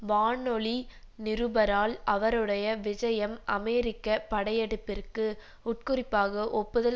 வானொலி நிருபரால் அவருடைய விஜயம் அமெரிக்க படையெடுப்பிற்கு உட்குறிப்பாக ஒப்புதல்